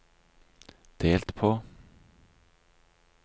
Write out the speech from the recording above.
delt på